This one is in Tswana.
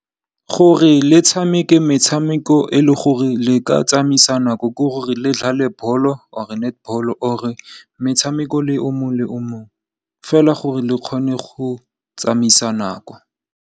Gore le tshameke metshameko e le gore le ka tsamaisa nako, ke gore le dlale bolo or netbolo or metshameko o mongwe le o mongwe fela gore le kgone go tsamaisa nako.